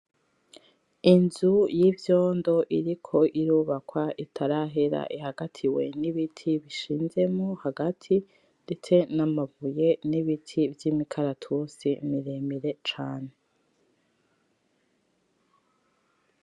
Inzu y'ivyondo iriko irubakwa itarahera ihagatiwe n'ibiti bishinzemwo hagati ndetse namabuye n'ibiti vy'imikaratusi miremire cane.